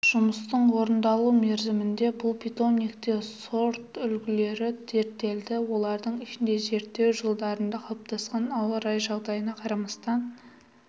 жұмыстың орындалу мерзімінде бұл питомникте сортүлгілері зерттелді олардың ішінде зерттеу жылдарында қалыптасқан ауа райы жағдайына қарамастан